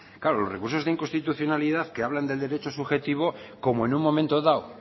claro los recursos de inconstitucionalidad que hablan del derecho subjetivo como en un momento dado